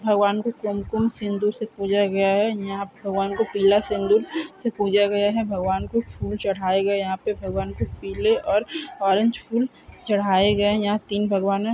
भगवान को कुमकुम सिंधु से पूजा गया है यहां भगवान को पीला सिंदूर से पूजा गया है भगवान को फूल चढ़ाए गए यहां पर भगवान के पीले और ऑरेंज फूल चढ़ाए गए या